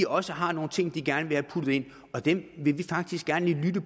også har nogle ting de gerne vil have puttet ind og dem vil vi faktisk gerne lige lytte